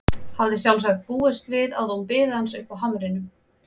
Hafði sjálfsagt búist við að hún biði hans uppi á hamrinum.